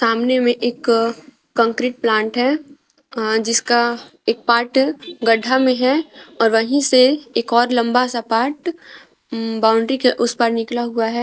सामने में एक कंक्रीट प्लांट है जिसका एक पार्ट गड्ढा में है और वहीं से एक और लंबा सा पार्ट बाउंड्री के उस पार निकला हुआ है।